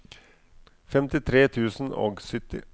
femtitre tusen og sytti